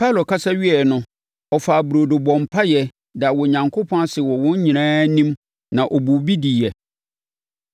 Paulo kasa wieeɛ no, ɔfaa burodo bɔɔ mpaeɛ, daa Onyankopɔn ase wɔ wɔn nyinaa anim na ɔbuu bi diiɛ.